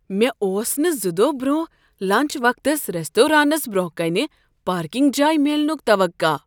مےٚ اوس نہٕ زٕ دۄہہ برونٛہہ لنٛچ وقتس ریستورانس برٛونٛہہ کنہ پارکنگ جاے میلنُک توقع۔